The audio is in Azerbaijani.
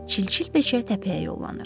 Çilçil beçə təpəyə yollanır.